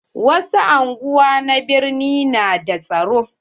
Wasu anguwa na birni na da tsaro.